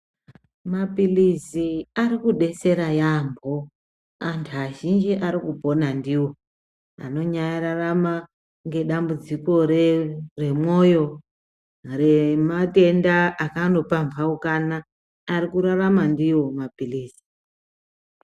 Mapilizi ari kudetsera yaampo antu azhinji arikupona ndiwo anonyararama ngedamumbudziko re remwoyo rematenda akanopampaukana ari kurarama ndiwo mapilizi.